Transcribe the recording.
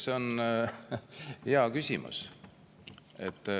See on hea küsimus.